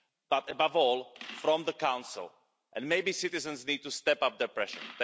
but above all, from the Council, and maybe citizens need to step up their pressure.